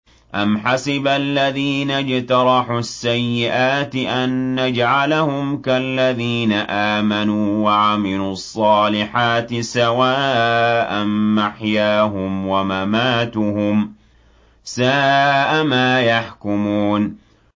أَمْ حَسِبَ الَّذِينَ اجْتَرَحُوا السَّيِّئَاتِ أَن نَّجْعَلَهُمْ كَالَّذِينَ آمَنُوا وَعَمِلُوا الصَّالِحَاتِ سَوَاءً مَّحْيَاهُمْ وَمَمَاتُهُمْ ۚ سَاءَ مَا يَحْكُمُونَ